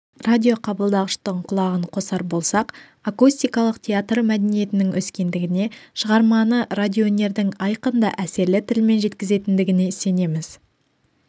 радиоқабылдағыштың құлағын қосар болсақ акустикалық театр мәдениетінің өскендігіне шығарманы радиоөнердің айқын да әсерлі тілмен жеткізетіндігіне сенеміз